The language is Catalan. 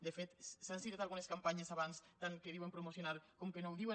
de fet s’han citat algunes campanyes abans tant que diuen promocionar com que no ho diuen